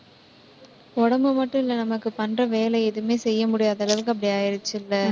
உடம்பு மட்டும் இல்ல நமக்கு பண்ற வேலை எதுவுமே செய்ய முடியாத அளவுக்கு அப்படி ஆயிடுச்சுல்ல.